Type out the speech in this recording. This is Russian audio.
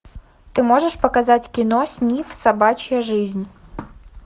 ты можешь показать кино снифф собачья жизнь